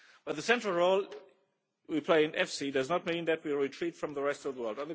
EU. The central role we play in EFSI does not mean that we retreat from the rest of the world.